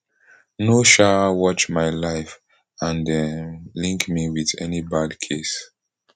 no um watch my life and um link me wit any bad case